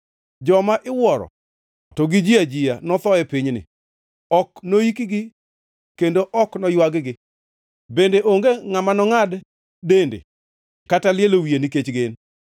Joma iwuoro to gi ji ajiya notho e pinyni. Ok noikgi kendo ok noywag-gi, bende onge ngʼama nongʼad dende kata lielo wiye nikech gin.